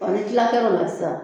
A ni tila kɛr'o la sisan